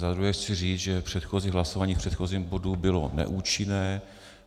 Za druhé chci říct, že předchozí hlasování v předchozím bodu bylo neúčinné.